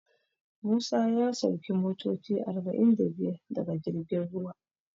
Musa ya sauki motoci arba'in da biyar daga girjin ruwa.